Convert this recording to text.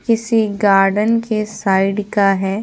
किसी गार्डन के साइड का है।